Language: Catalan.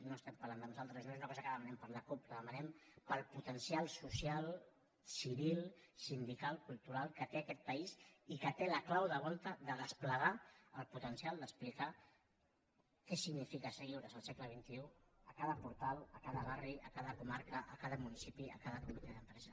no estem parlant de nosaltres no és una cosa que demanem per a la cup la demanem per al potencial social civil sindical cultural que té aquest país i que té la clau de volta de desplegar el potencial d’explicar què significa ser lliures al segle xxibarri a cada comarca a cada municipi a cada comitè d’empresa